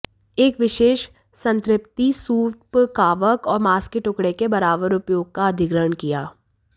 एक विशेष संतृप्ति सूप कवक और मांस के टुकड़े के बराबर उपयोग का अधिग्रहण किया